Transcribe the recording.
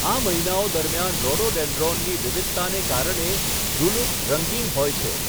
આ મહિનાઓ દરમિયાન રોડોડેન્ડ્રોનની વિવિધતાને કારણે ઝુલુક રંગીન હોય છે.